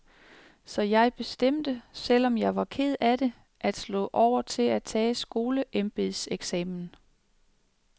Så jeg bestemte, selv om jeg var ked af det, at slå over til at tage skoleembedseksamen.